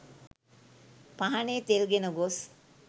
පහනේ තෙල් ගෙන ගොස්